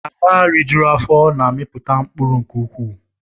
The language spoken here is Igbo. Ala rijuru afọ na-amiputa mkpụrụ nke ukwuu